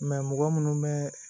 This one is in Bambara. mɔgɔ munnu bɛ